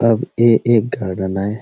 अब ये एक गार्डन हैं।